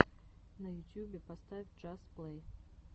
на ютьюбе поставь джаст плэй